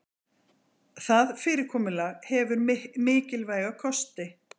Það fyrirkomulag hefur mikilvæga kosti